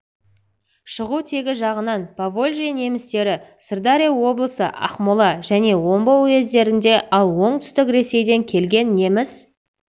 шығу тегі жағынан поволжье немістері сырдария облысы ақмола және омбы уездерінде ал оңтүстік ресейден келген неміс